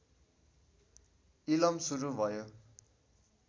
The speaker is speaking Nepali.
इलम सुरु भयो